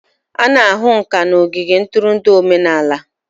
A na-ahụ ǹkà n'ogige ntụrụndụ omenala